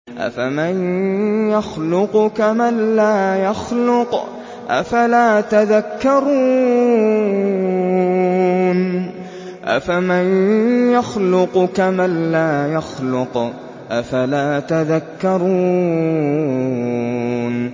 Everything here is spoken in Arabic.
أَفَمَن يَخْلُقُ كَمَن لَّا يَخْلُقُ ۗ أَفَلَا تَذَكَّرُونَ